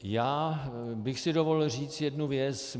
Já bych si dovolil říct jednu věc.